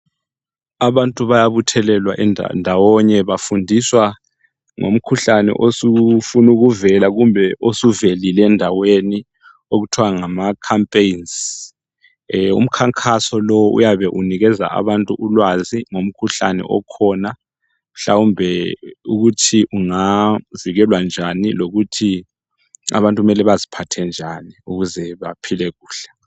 abantu bayabuthelelawa ndawonye bafundiswa ngomkhuhlane osufuna ukuvela kumbe osuvelile endaweni okuthwa ngama campaigns umkhankaso lo uyabe unikeza abantu ulwazi ngomkhuhlane okhona mhlawumbe ukuthi unavikelwa njani lokuthi abantu kumele baziphathe njani ukuze baphile kuhle